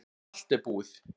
Allt er búið